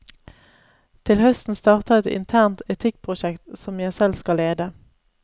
Til høsten starter et internt etikkprosjekt, som jeg selv skal lede.